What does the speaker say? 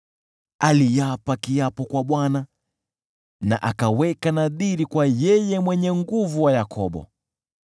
Aliapa kiapo kwa Bwana na akaweka nadhiri kwa Yule Mwenye Nguvu wa Yakobo: